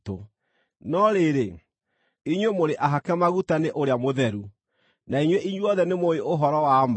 No rĩrĩ, inyuĩ mũrĩ ahake maguta nĩ Ũrĩa Mũtheru, na inyuĩ inyuothe nĩmũũĩ ũhoro wa ma.